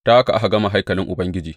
Ta haka aka gama haikalin Ubangiji.